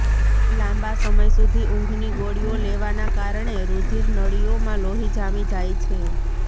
લાંબા સમય સુધી ઊંઘની ગોળીઓ લેવાના કારણે રુધિર નળીઓમાં લોહી જામી જાય છે